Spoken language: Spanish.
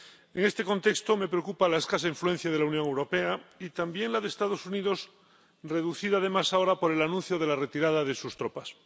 En este contexto, me preocupa la escasa influencia de la Unión Europea, y también la de los Estados Unidos, reducida además ahora por el anuncio de la retirada de sus tropas.